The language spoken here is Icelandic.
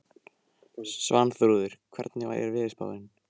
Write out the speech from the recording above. Svanþrúður, hvernig er veðurspáin?